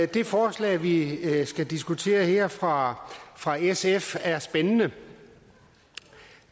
det forslag vi skal diskutere her fra fra sf er spændende